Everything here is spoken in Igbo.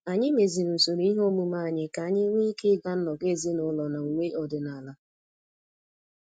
Anyị meziri usoro ihe omume anyị ka anyị nwee ike ịga nnọkọ ezinụlọ na uwe ọdịnala